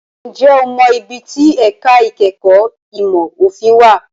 Ǹjẹ́ o mọ ibi tí ẹ̀ka ìkẹ́kọ̀ọ́ ìmọ̀ òfin wà?